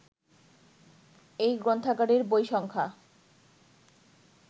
এই গ্রন্থাগারের বই সংখ্যা